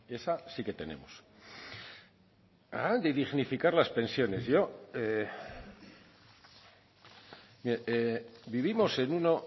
esa sí que tenemos hablan de dignificar las pensiones yo mire vivimos en uno